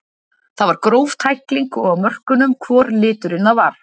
Það var gróf tækling og á mörkunum hvor liturinn það var.